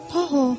Pa-ho!